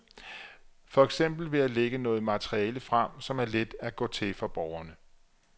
For eksempel ved at lægge noget materiale frem, som er let at gå til for borgerne.